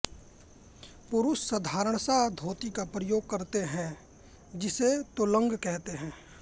पुरुष साधारणसा धोती का प्रयोग करते हैं जिसे तोलोंग कहते हैं